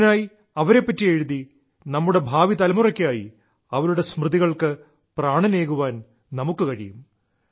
ഇതിനായി അവരെപ്പറ്റി എഴുതി നമ്മുടെ ഭാവിതലമുറയ്ക്കായി അവരുടെ സ്മൃതികൾക്കു പ്രാണനേകാൻ നമുക്കു കഴിയും